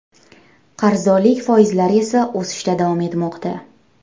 Qarzdorlik foizlari esa o‘sishda davom etmoqda.